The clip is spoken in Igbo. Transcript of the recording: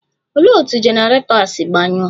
Olee otú generator si gbanyụọ?.